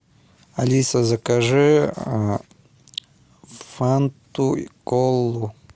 алиса закажи фанту и колу